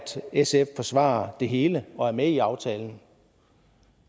sf forsvarer det hele og er med i aftalen